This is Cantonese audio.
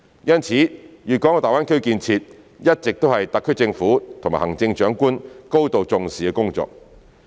因此，大灣區建設一直是特區政府及行政長官高度重視的工作。